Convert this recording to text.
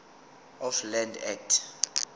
of land act